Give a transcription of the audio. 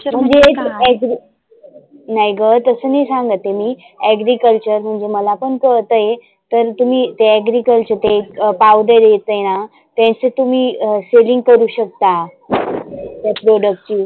म्हणजे एक angry नाही ग तसं नाही सांगत आहे मी agriculture म्हणजे मला पण कळतय. तर तुम्ही ते agriculture ते एक powder येते ना त्याची तुम्ही selling करु शकता. त्या product ची